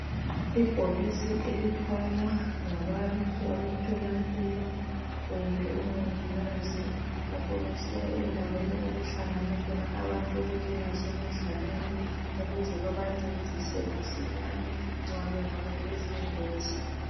Ibhokisi elithwalwa ngabantu abemtholampilo kumbe omongikazi lapho besiya endaweni okuhlangana khona abantu okunjengase midlalweni ukuze babancedise masinyane nxa kungaba lezingozi.